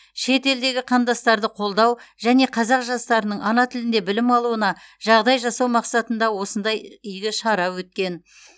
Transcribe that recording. шет елдегі қандастарды қолдау және қазақ жастарының ана тілінде білім алуына жағдай жасау мақсатында осындай игі шара өткен